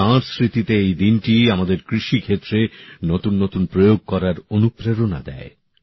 তাঁর স্মৃতিতে এই দিনটি আমাদের কৃষিক্ষেত্রে নতুন নতুন প্রয়োগ করার অনুপ্রেরণা দেয়